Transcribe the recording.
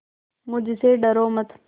मुझसे डरो मत